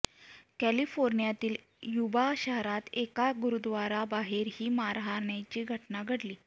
कॅलिफोर्नियातील Yuba शहरात एका गुरुद्वाराबाहेर ही मारहाणीची घटना घडली